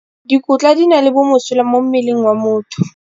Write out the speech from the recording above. Dikotla di na le bomosola mo mmeleng wa motho.